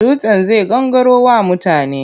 Dutsen zai gangaro wa mutane.